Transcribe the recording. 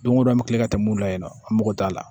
Don go don an bɛ kila ka tɛmɛ mun la yen nɔ an mago t'a la